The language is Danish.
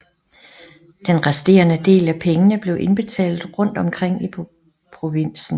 Den resterende del af pengene blev indbetalt rundt omkring i provinsen